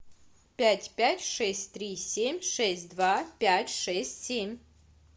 пять пять шесть три семь шесть два пять шесть семь